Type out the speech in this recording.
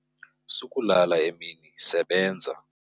Sukulala emini, sebenza.